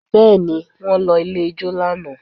Bẹ́ẹ̀ ni, wọ́n lọ ilé ijó lánàá